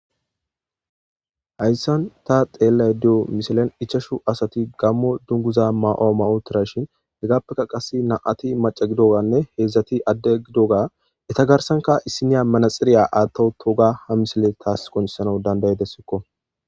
Hayssan ta xeellashe diya wode ichashu asati gaammo misilen mayo mayiddi uttida shin hegappe qassi nam7ati macca gidiyoganne heedzdzati adde gidiyoga eeta garsan issiniya manaxxire aatta uttiyoga ha misiley tas qoncisees.